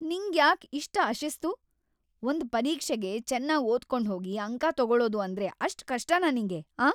ನಿಂಗ್ಯಾಕ್ ಇಷ್ಟ್‌ ಅಶಿಸ್ತು?! ಒಂದ್‌ ಪರೀಕ್ಷೆಗೆ ಚೆನ್ನಾಗ್‌ ಓದ್ಕೊಂಡ್ಹೋಗಿ ಅಂಕ ತೊಗೊಳೋದು‌ ಅಂದ್ರೆ ಅಷ್ಟ್‌ ಕಷ್ಟನಾ ನಿಂಗೆ, ಆಂ?